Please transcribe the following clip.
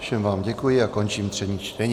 Všem vám děkuji a končím třetí čtení.